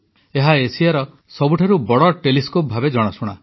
ଏହା ଏସିଆର ସବୁଠାରୁ ବଡ଼ ଟେଲିସ୍କୋପ ଭାବେ ଜଣାଶୁଣା